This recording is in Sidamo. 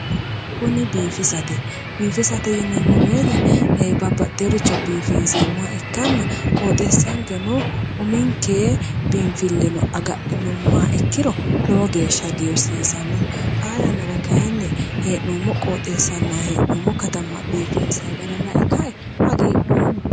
kuni biifisate biifisate yineemmo woyte eeee babbaxeeworicho biifinseemmoha ikkanna qoxeessankeno uminke binfilleno agadhinummoha ikkiro lowo geeshsha hagiirsiisanno xaa yannara kayinni hee'noommo qooxeessanna katama biifinsay gara lae ka'e hagiidhoomma